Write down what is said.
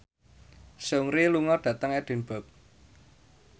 Seungri lunga dhateng Edinburgh